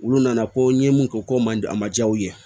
Olu nana ko n ye mun kɛ ko man a man ja u ye